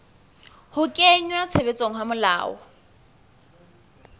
ho kenngwa tshebetsong ha melao